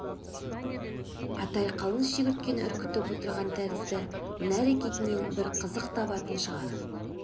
атай қалың шегірткені үркітіп отырған тәрізді мына әрекетінен бір қызық табатын шығар